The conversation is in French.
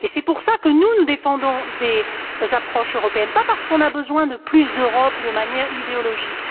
C'est pour cela que nous, nous défendons des approches européennes, pas parce que nous avons besoin de plus d'Europe sur le plan idéologique.